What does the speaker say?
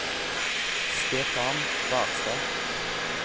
Stefan Barstad